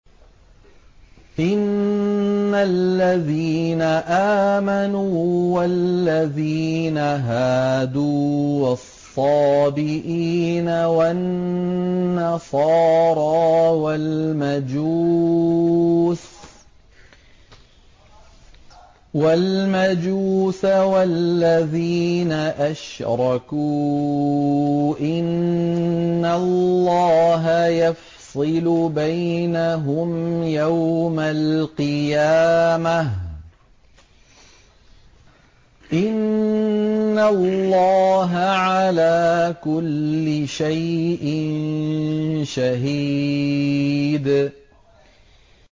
إِنَّ الَّذِينَ آمَنُوا وَالَّذِينَ هَادُوا وَالصَّابِئِينَ وَالنَّصَارَىٰ وَالْمَجُوسَ وَالَّذِينَ أَشْرَكُوا إِنَّ اللَّهَ يَفْصِلُ بَيْنَهُمْ يَوْمَ الْقِيَامَةِ ۚ إِنَّ اللَّهَ عَلَىٰ كُلِّ شَيْءٍ شَهِيدٌ